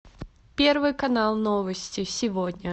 первый канал новости сегодня